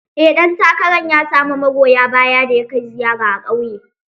Eh ɗan takarar ya samu magoya baya da ya kai ziyara a ƙauye.